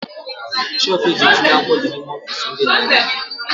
Shelfu eji etinye akwụkwọ dị n'ime ọfiisi ndị direktọ